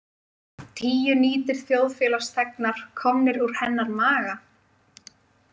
Tíu nýtir þjóðfélagsþegnar komnir úr hennar maga.